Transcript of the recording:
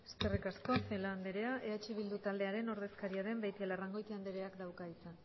eskerrik asko celaá anderea eh bildu taldearen ordezkaria den beitialarrangoitia andereak dauka hitza